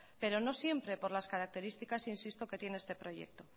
pero no siempre por las características insisto que tiene este proyecto